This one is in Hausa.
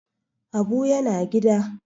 Habu yana gida